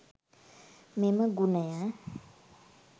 මෙම ගුණය